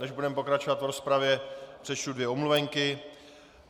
Než budeme pokračovat v rozpravě, přečtu dvě omluvenky.